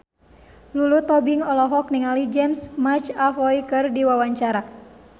Lulu Tobing olohok ningali James McAvoy keur diwawancara